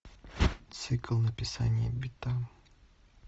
цикл написания бита